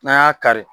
N'an y'a kari